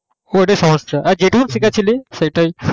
হ্যাঁ ওটা সহজ ছিলো আর যেটুকুই শিখেছিলি সেটাই